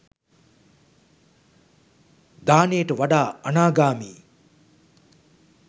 දානයට වඩා අනාගාමි